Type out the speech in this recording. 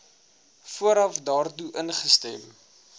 vooraf daartoe ingestem